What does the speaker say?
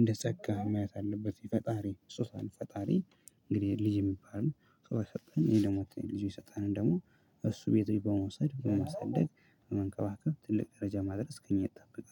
እንደ ጸጋ ማየት አለበት ፈጣሪ ስጦታን ፈጣሪ እንግዲህ ልጅ የሚባል ነው። ስጦታ የሰጠን ይሄ ደግሞ ልጅ የሰጠን ደግሞ እሱ ቤተኛ በመውሰድ በመስደግ በመንቀባቀብ ትልቅ ደረጃ ማድረስ ግኝት ጠብቀው